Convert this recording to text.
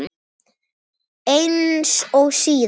Eins og síðast?